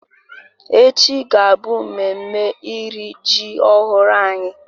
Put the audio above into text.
Echi ga-abụ memme iri ji ọhụrụ anyị